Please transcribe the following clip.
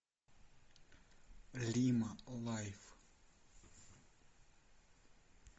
лима лайф